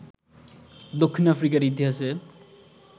দক্ষিণ আফ্রিকার ইতিহাসে